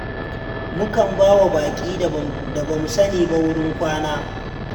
Mukan ba wa baƙi da ba mu sani ba wurin kwana.